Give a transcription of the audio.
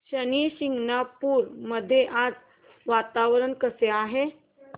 शनी शिंगणापूर मध्ये आज वातावरण कसे आहे